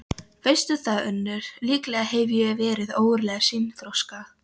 Veistu það, Unnur, líklega hef ég verið ógurlega seinþroska.